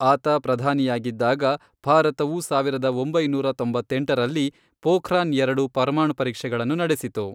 ಆತ ಪ್ರಧಾನಿಯಾಗಿದ್ದಾಗ, ಭಾರತವು ಸಾವಿರದ ಒಂಬೈನೂರ ತೊಂಬತ್ತೆಂಟರಲ್ಲಿ ಪೋಖ್ರಾನ್ ಎರಡು ಪರಮಾಣು ಪರೀಕ್ಷೆಗಳನ್ನು ನಡೆಸಿತು.